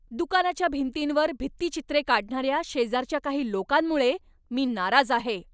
दुकानाच्या भिंतींवर भित्तिचित्रे काढणाऱ्या शेजारच्या काही लोकांमुळे मी नाराज आहे.